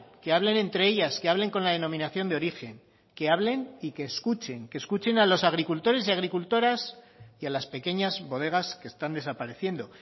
que hablen entre ellas que hablen con la denominación de origen que hablen y que escuchen que escuchen a los agricultores y agricultoras y a las pequeñas bodegas que están desapareciendo